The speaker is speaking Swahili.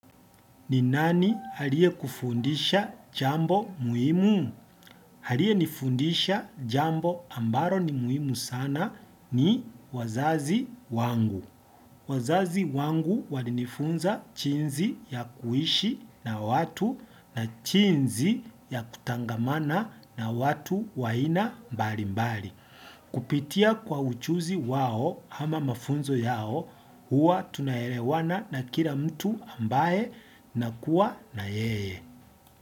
Ni nani aliyekufundisha jambo muhimu? Haliye nifundisha jambo ambaro ni muimu sana ni wazazi wangu. Wazazi wangu walinifunza chinzi ya kuishi na watu na chinzi ya kutangamana na watu wa aina mbalimbali. Kupitia kwa uchuzi wao ama mafunzo yao huwa tunaerewana na kila mtu ambaye nakuwa na yeye.